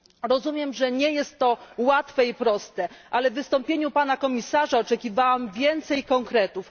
Rozumiem, że nie jest to łatwe i proste, ale w wystąpieniu pana komisarza oczekiwałam więcej konkretów.